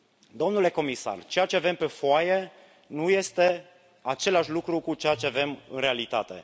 Domnule comisar, ceea ce avem pe foaie nu este identic cu ceea ce avem în realitate.